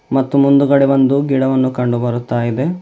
ಮತ್ತು ಮುಂದುಗಡೆ ಒಂದು ಗಿಡವನ್ನು ಕಂಡು ಬರುತ್ತಾ ಇದೆ.